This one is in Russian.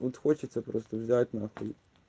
вот хочется просто взять на хуй